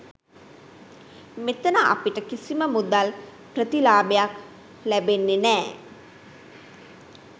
මෙතන අපිට කිසිම මුදල් ප්‍රතිලාභයක් ලැබෙන්නෙ නෑ.